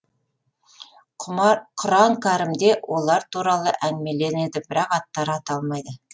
құран кәрімде олар туралы әңгімеленеді бірақ аттары аталмайды